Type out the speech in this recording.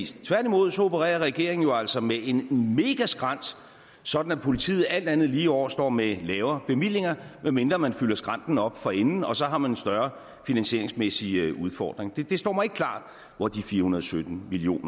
tværtimod opererer regeringen jo altså med en megaskrænt sådan at politiet alt andet lige i år står med lavere bevillinger medmindre man fylder skrænten op forinden og så har man større finansieringsmæssige udfordringer det står mig ikke klart hvor de fire hundrede og sytten million